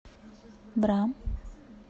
бра